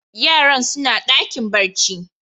Yaran suna dakin barci.